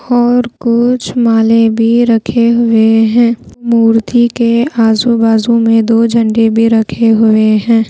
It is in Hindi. और कुछ माले भी रखे हुए हैं मूर्ति के आजू बाजू में दो झंडे में रखे हुए हैं।